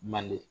Manden